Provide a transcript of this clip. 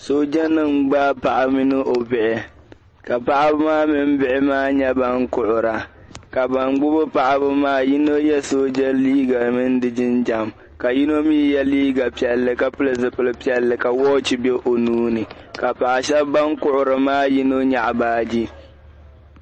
Soojanima n-gbaai paɣa mini o bihi ka paɣiba maa mini maa nyɛ ban kuhira ka ban gbibi paɣiba maa yino ye sooja liiga mini di jinjam ka yino mi ye liiga piɛlli ka pili zipil' piɛlli ka wɔchi be o nuu ni ka paɣ' shɛba ban kuhiri maa yino nyaɣi baaji.